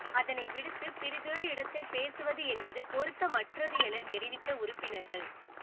அதனை விடுத்து பிரிதொரு இடத்தில் பேசுவது என்பது பொருத்தமற்றது எனத் தெரிவித்த உறுப்பினர்கள்